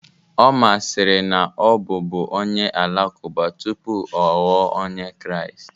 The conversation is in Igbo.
Omar sịrị na ọ bụ bú onye Alakụba tupu ọ ghọọ Onye Kraịst